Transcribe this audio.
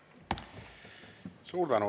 Suur tänu!